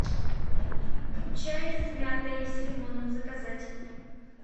чай с мятой и с лимоном заказать